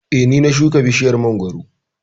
eh ,Ni na shika bishiyar mangwaro